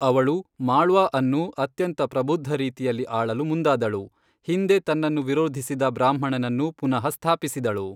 ಅವಳು ಮಾಳ್ವಾ ಅನ್ನು ಅತ್ಯಂತ ಪ್ರಬುದ್ಧ ರೀತಿಯಲ್ಲಿ ಆಳಲು ಮುಂದಾದಳು, ಹಿಂದೆ ತನ್ನನ್ನು ವಿರೋಧಿಸಿದ ಬ್ರಾಹ್ಮಣನನ್ನು ಪುನಃ ಸ್ಥಾಪಿಸಿದಳು.